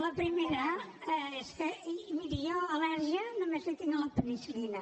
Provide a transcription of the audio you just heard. la primera és que miri jo al·lèrgia només en tinc a la penicil·lina